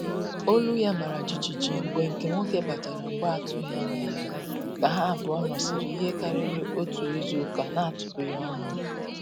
Olu ya mara jijiji mgbe nke nwoke batara mgbe atụghị anya ya, ka ha abụọ nọsiri ihe karịrị otu izuụka na-atụpụghi ọnụ